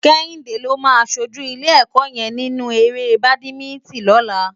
Kehinde ló má ṣójú ilé èkò yèn ninú éré bádimintin lòlá